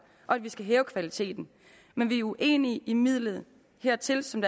og at vi skal hæve kvaliteten men vi er uenige i midlet hertil som